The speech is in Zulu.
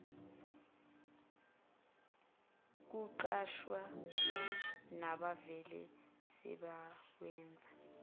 kuqashwa nabavele sebewenza